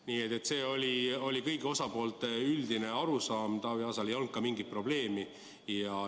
Nii et see oli kõigi osapoolte ühine arusaam, ka Taavi Aasal ei olnud sellega mingit probleemi.